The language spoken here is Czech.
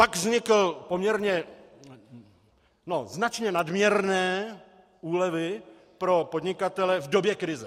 Pak vznikly poměrně a značně nadměrné úlevy pro podnikatele v době krize.